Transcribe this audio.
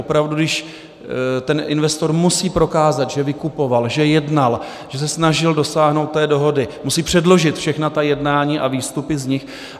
Opravdu, když ten investor musí prokázat, že vykupoval, že jednal, že se snažil dosáhnout té dohody, musí předložit všechna ta jednání a výstupy z nich.